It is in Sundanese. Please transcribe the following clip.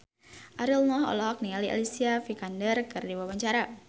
Ariel Noah olohok ningali Alicia Vikander keur diwawancara